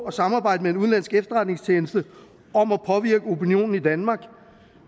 at samarbejde med en udenlandsk efterretningstjeneste om at påvirke opinionen i danmark